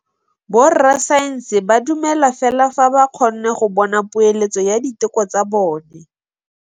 Borra saense ba dumela fela fa ba kgonne go bona poeletsô ya diteko tsa bone.